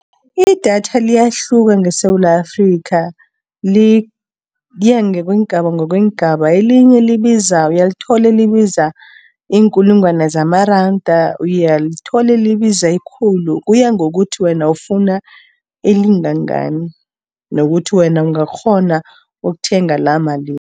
Idatha liyahluka ngeSewula Afrikha, liyangokweengaba, ngokweengaba, elinye uyalithola elibiza iinkulungwana zamaranda. Uyalithole elibiza ikhulu, kuya ngokuthi wena ufuna elingangani nokuthi wena ungakghona ukuthenga lamalini.